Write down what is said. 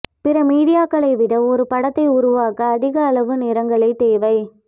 பிற மீடியாக்களை விட ஒரு படத்தை உருவாக்க அதிக அளவு நிறங்களை தேவை